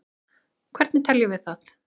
hvernig teljum við það